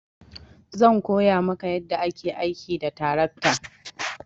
Zan koya maka yadda ake aiki da tarakta.